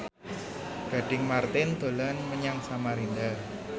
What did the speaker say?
Gading Marten dolan menyang Samarinda